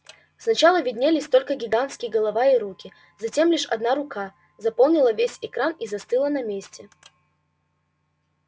сначала виднелись только гигантские голова и руки затем лишь одна рука заполнила весь экран и застыла на месте